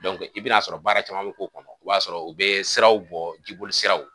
i bi na sɔrɔ baara caman be k'o kɔnɔ . I b'a sɔrɔ u be siraw bɔ ji boli siraw.